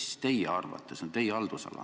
See on teie haldusala.